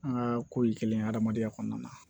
An ka ko ye kelen ye hadamadenya kɔnɔna na